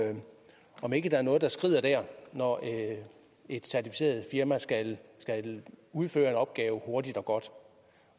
om ikke der er noget der skrider der når et certificeret firma skal udføre en opgave hurtigt og godt